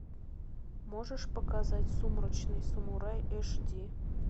можешь показать сумрачный самурай аш ди